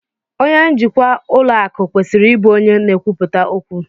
Onye njikwa ụlọ akụ kwesịrị ịbụ onye n'ekwuputa okwu